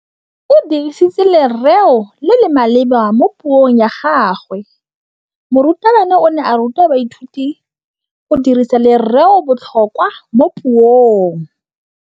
O dirisitse lerêo le le maleba mo puông ya gagwe. Morutabana o ne a ruta baithuti go dirisa lêrêôbotlhôkwa mo puong.